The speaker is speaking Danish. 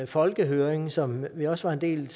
folkehøring som vi også var en del